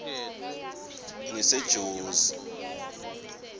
ngisejozi